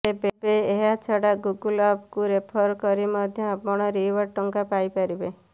ତେବେ ଏହା ଛଡ଼ା ଗୁଗୁଲ ଆପକୁ ରେଫର କରି ମଧ୍ୟ ଆପଣ ରିୱାର୍ଡ଼ ଟଙ୍କା ପାଇପାରିବେ